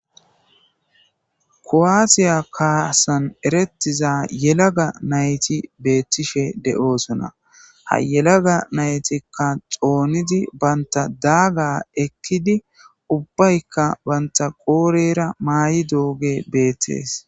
ko7aatiya kaasan erettiza yelaga nayti beettishe de7oosona ha yelaga naytikka xoonidi banta daaga ekkidi ubbaykka banta qoorera maay7i dooge beettees